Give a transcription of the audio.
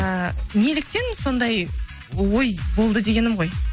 ыыы неліктен сондай ой болды дегенім ғой